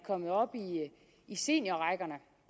kommet op i seniorrækkerne